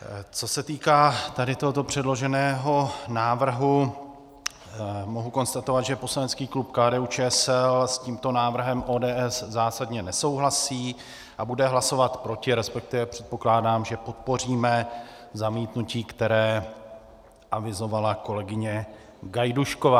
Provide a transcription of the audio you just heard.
Co se týká tady tohoto předloženého návrhu, mohu konstatovat, že poslanecký klub KDU-ČSL s tímto návrhem ODS zásadně nesouhlasí a bude hlasovat proti, respektive předpokládám, že podpoříme zamítnutí, které avizovala kolegyně Gajdušková.